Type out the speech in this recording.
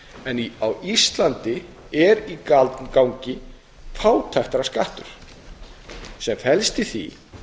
það að á íslandi er í gangi fátæktarskattur sem felst í því